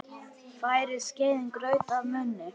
Færir skeiðin graut að munni.